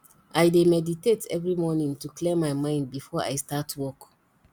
i dey meditate every morning to clear my mind before i start work